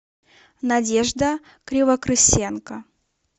надежда кривокрысенко